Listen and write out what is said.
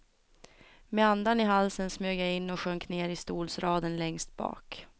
Med andan i halsen smög jag in och sjönk ner i stolsraden längst bak.